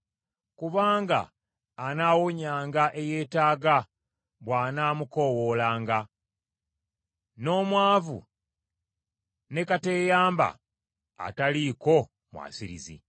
Kubanga anaawonyanga eyeetaaga bw’anaamukoowoolanga, n’omwavu ne kateeyamba ataliiko mwasirizi.